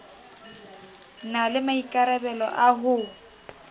na le maikarabelo a ho